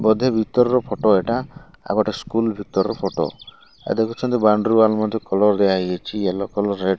ବୋଧେ ଭିତର ଫଟ ଏଇଟା ଆଉ ଗୋଟେ ସ୍କୁଲ୍ ଭିତରର ଫଟ ୟେ ଦେଖୁଛନ୍ତି। ବୋଉନ୍ଦ୍ରି ୱାଲ୍ ମଧ୍ୟ କଲର୍ ଦିଆହେଇଯାଇଛି ୟେଲୋ କଲର୍ ରେଡ୍ ।